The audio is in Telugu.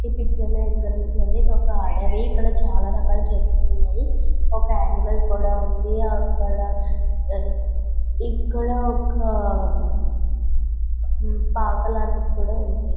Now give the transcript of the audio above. ఈ పిక్చర్లో ఏం కనిపిస్తుంది అంటే ఇది ఒక అడవి చాలా రకాల చెట్లు అడవిలో ఒక అనిమల్ కూడా ఉంది ఇక్కడ ఒక పాక లాంటిది కూడా ఉంది.